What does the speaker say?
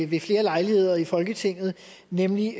ved flere lejligheder i folketinget nemlig